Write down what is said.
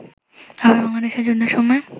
আবার বাংলাদেশের যুদ্ধের সময়